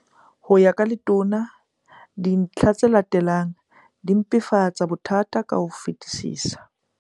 Ho ya ka Letona, dintlha tse latelang di mpefatsa bothata ka ho fetisisa.